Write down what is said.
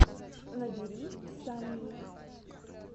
набери санни